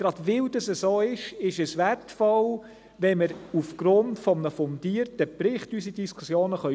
Gerade weil es so ist, ist es wertvoll, wenn wir unsere Diskussionen aufgrund eines fundierten Berichts führen können.